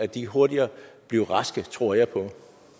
de hurtigere blev raske det tror jeg på